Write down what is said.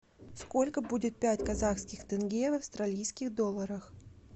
сколько будет пять казахских тенге в австралийских долларах